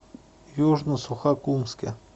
южно сухокумске